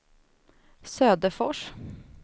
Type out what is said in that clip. Söderfors